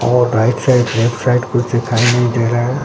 और right side left side कुछ दिखाई नहीं दे रहा है।